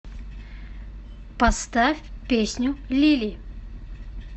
поставь песню лили